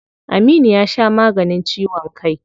Aminu ya sha maganin ciwon kai.